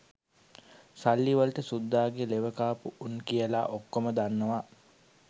සල්ලි වලට සුද්දාගේ ලෙවකාපු උන් කියලා ඔක්කෝම දන්නවා